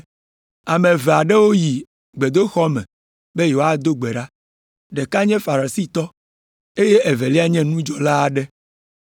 “Ame eve aɖewo yi gbedoxɔ me be yewoado gbe ɖa. Ɖeka nye Farisitɔ, eye evelia nye nudzɔla aɖe.